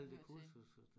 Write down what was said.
Alle de kurser så